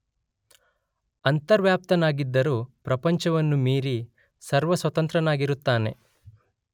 ಅಂತರ್ವ್ಯಾಪ್ತನಾಗಿದ್ದರೂ ಪ್ರಪಂಚವನ್ನು ಮೀರಿ ಸರ್ವಸ್ವತಂತ್ರನಾಗಿರುತ್ತಾನೆ.